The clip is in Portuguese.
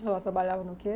Ela trabalhava no quê?